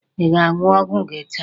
Ị ga-aṅụ ọgwụ gị taa?